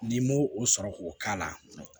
N'i m'o o sɔrɔ k'o k'a la